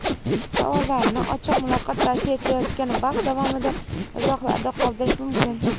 Savollarni Ochiq muloqot tashkil etilayotgan vaqt davomida izohlarda qoldirish mumkin.